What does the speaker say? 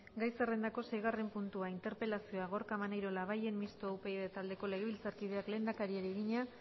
gai zerrendako sei puntua interpelazioa gorka maneiro labayen mistoa upyd taldeko legebiltzarkideak lehendakariari egina